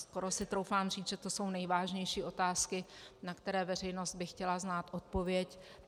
Skoro si troufám říct, že to jsou nejvážnější otázky, na které veřejnost by chtěla znát odpověď.